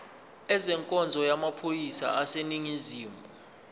ezenkonzo yamaphoyisa aseningizimu